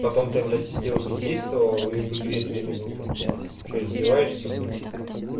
потом ты блять сидел бездействовал и в игре две минуты что издеваешься блять